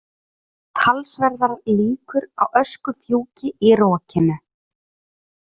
Talsverðar líkur á öskufjúki í rokinu